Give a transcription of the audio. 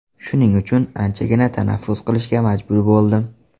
Shuning uchun, anchagina tanaffus qilishga majbur bo‘ldim.